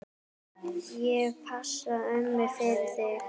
Ég passa ömmu fyrir þig.